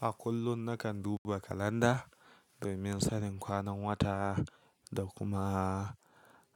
A kullum nakan duba calender domin sanin kwanan wata da kuma